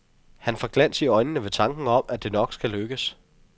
Han får glans i øjnene ved tanken om, at det nok skal lykkes.